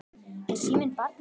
Er síminn barnið þitt?